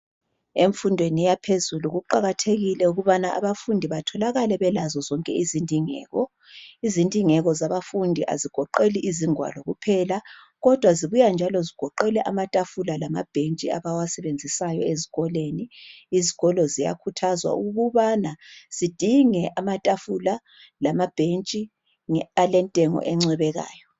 Emfundweni yaphezulu kuqakathekile ukubana abafundi batholakale belazo zonke izindingeko. Izindingeko zabafundi azigoqeli izingwalo kuphela, kodwa zibuya njalo, zigoqele amatafula lamabhentshi. Abawasebenzisayo ezikolweni. Izikolo ziyakhuthazwa ukubana zidinge amatafula, lamabhentshi, alentengo encwebekayo.